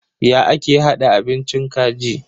Ya ake hada abincin kaji?